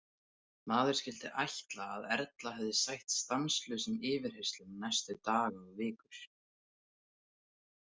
Maður skyldi ætla að Erla hefði sætt stanslausum yfirheyrslum næstu daga og vikur.